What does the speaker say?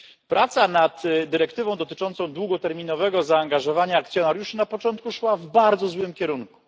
Praca nad dyrektywą dotyczącą długoterminowego zaangażowania akcjonariuszy na początku szła w bardzo złym kierunku.